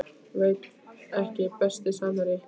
Veit ekki Besti samherji?